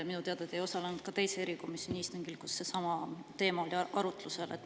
Minu teada te ei osalenud ka teise erikomisjoni istungil, kus seesama teema oli arutlusel.